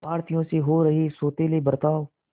भारतीयों से हो रहे सौतेले बर्ताव